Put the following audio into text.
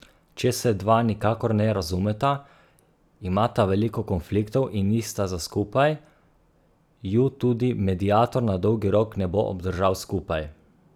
Če se dva nikakor ne razumeta, imata veliko konfliktov in nista za skupaj, ju tudi mediator na dolgi rok ne bo obdržal skupaj.